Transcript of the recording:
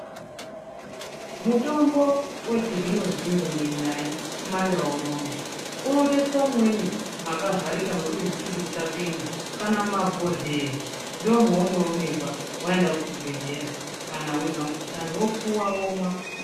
Mutombo wechizvino zvino imwe nai kumandau unono unotoiswa mumweni makavharika mekuti mututu usapinda kana mumabhohleya ndomaunoonekwa waenda kuzvibhedhlera weizwa mukuhlani wopuwa womwa.